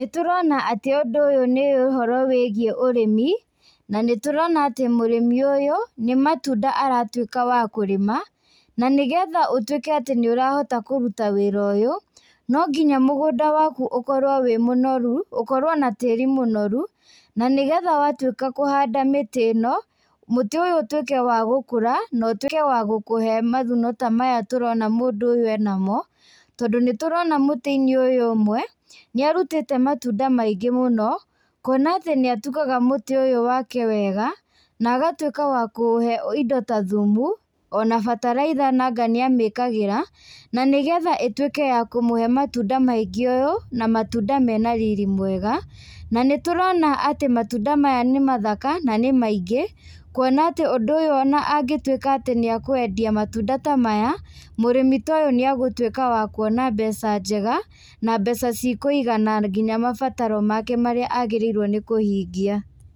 Nĩtũrona atĩ ũndũ ũyũ nĩ ũhoro wĩigiĩ ũrĩmi na nĩtũrona atĩ mũrĩmi ũyũ nĩ matunda aratuĩka wa kũrĩma, na nĩgetha ũtuĩke atĩ nĩũrahota kũruta wĩra ũyũ, nongĩnya mũgũnda waku ũkorwo wĩ mũnoru, ũkorwo na tĩĩri mũnoru na nĩgetha watuĩka kũhanda mĩtĩ ĩno, mũtĩ ũyũ ũtuĩke wa gũkũra na ũtuĩke wa gũkũhe mavuno ta maya tũrona mũndũ ũyũ ena mo, tondũ nĩtũrona mũtĩ-inĩ ũyũ ũmwe nĩ arutĩte matunda maingĩ mũno, kuona atĩ nĩ atugaga mũtĩ ũyũ wake wega na agatuĩka wa kũũhe indo ta thumu ona bataraitha nanga nĩamĩkagĩra, na nĩgetha ĩtuĩke wa kũmũhe matunda maingĩ ũyũ na matunda mena riri mwega. Na nĩtũrona atĩ matunda maya nĩmathaka na nĩ maingĩ, kuona atĩ ũndũ ũyũ ona angĩtuĩka atĩ nĩakwendia matunda ta maya, mũrĩmi toyũ nĩagũtuĩka wa kuona mbeca njega na mbeca ciikũigana nginya mabataro make marĩa agĩrĩirwo nĩkũhingia.